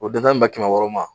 O den tan bɛ ben kɛmɛ wɔɔrɔ ma.